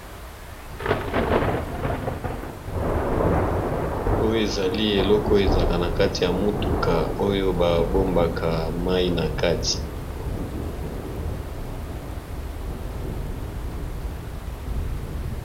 Oyo ezali eloko ezaka na kati ya motuka oyo babombaka mai na kati.